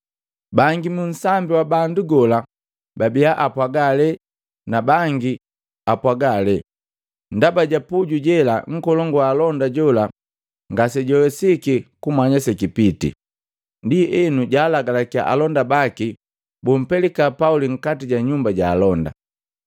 Bangi mu nsambi wa bandu gola babia apwaga ale na bandu bangi bapwaga ale. Ndaba ja puju jela, nkolongu wa alonda jola ngasejwawesiki kumanya sekipiti. Ndienu jalagalakiya alonda baki bumpelika Pauli nkati ja nyumba ja alonda.